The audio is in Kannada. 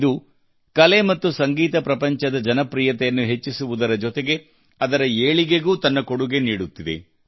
ಇದು ಕಲೆ ಮತ್ತು ಸಂಗೀತ ಪ್ರಪಂಚದ ಜನಪ್ರಿಯತೆಯನ್ನು ಹೆಚ್ಚಿಸುವುದರ ಜೊತೆಗೆ ಅದರ ಏಳಿಗೆಗೂ ತನ್ನ ಕೊಡುಗೆ ನೀಡುತ್ತಿದೆ